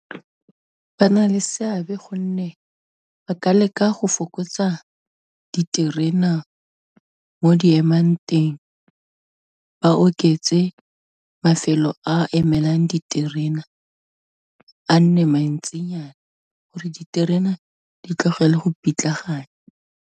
Ba na le seabe gonne ba ka leka go fokotsa diterena mo di emang teng, ba oketse mafelo a emelang diterena, a nne mantsinyana gore diterena di tlogela go pitlagana.